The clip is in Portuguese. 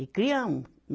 E criamos.